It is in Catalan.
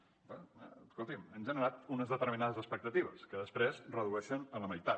escolti’m han generat unes determinades expectatives que després redueixen a la meitat